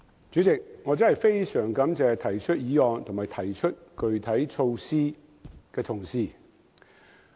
主席，我非常感謝今天提出本議案及各項具體措施的同事。